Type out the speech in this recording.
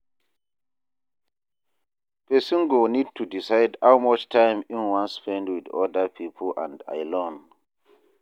Person go need to decide how much time im wan spend with oda pipo and alone